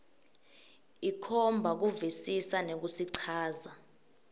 ikhomba kuvisisa nekusichaza